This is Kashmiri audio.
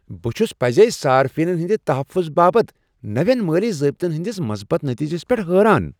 بہٕ چھس پزے صارفینن ہندِ تحفظ باپت نوین مٲلی ضٲبطن ہندِس مثبت نتیجس پیٹھ حیران ۔